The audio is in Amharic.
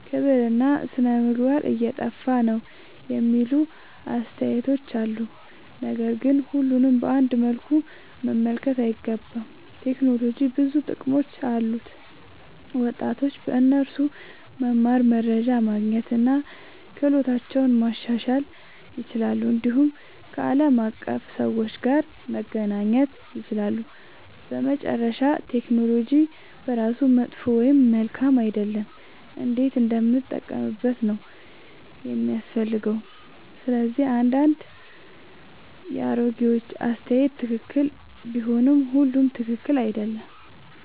ክብርና ሥነ-ምግባር እየጠፋ ነው የሚሉ አስተያየቶች አሉ። ነገር ግን ሁሉንም በአንድ መልኩ መመልከት አይገባም። ቴክኖሎጂ ብዙ ጥቅሞች አሉት፤ ወጣቶች በእርሱ መማር፣ መረጃ ማግኘት እና ክህሎታቸውን ማሻሻል ይችላሉ። እንዲሁም ከዓለም አቀፍ ሰዎች ጋር መገናኘት ይችላሉ። በመጨረሻ ቴክኖሎጂ በራሱ መጥፎ ወይም መልካም አይደለም፤ እንዴት እንደምንጠቀምበት ነው የሚያስፈልገው። ስለዚህ አንዳንድ የአሮጌዎች አስተያየት ትክክል ቢሆንም ሁሉም ትክክል አይደለም።